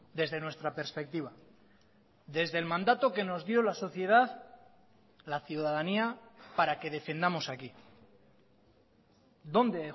desde nuestra perspectiva desde el mandato que nos dio la sociedad la ciudadanía para que defendamos aquí dónde he